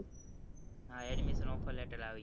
હા addmissonoffer latter આવી ગયો